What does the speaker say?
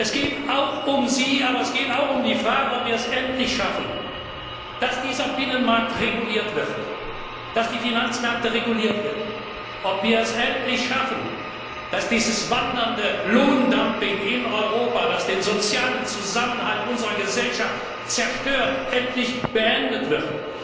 Es geht auch um Sie, aber es geht auch um die Frage, ob wir es endlich schaffen, dass dieser Binnenmarkt reguliert wird, dass die Finanzmärkte reguliert werden, ob wir es endlich schaffen, dass dieses wandernde Lohndumping in Europa, das den sozialen Zusammenhalt unserer Gesellschaft zerstört, endlich beendet wird.